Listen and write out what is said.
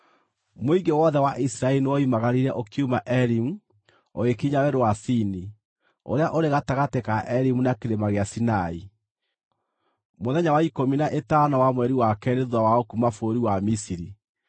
Mũingĩ wothe wa Isiraeli nĩwoimagararire ũkiuma Elimu ũgĩkinya Werũ wa Sini, ũrĩa ũrĩ gatagatĩ ka Elimu na kĩrĩma gĩa Sinai, mũthenya wa ikũmi na ĩtano wa mweri wa keerĩ thuutha wao kuuma bũrũri wa Misiri.